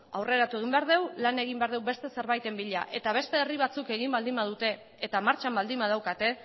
aurreratu egin behar dugu lan egin behar dugu beste zerbaiten bila eta beste herri batzuk egin baldin badute eta martxan baldin badaukate